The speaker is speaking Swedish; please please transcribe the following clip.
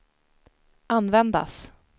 användas